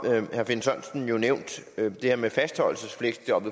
herre finn sørensen nævnt det her med fastholdelsesfleksjob